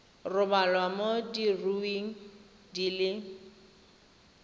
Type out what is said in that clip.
rebolwa mo diureng di le